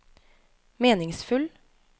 meningsfull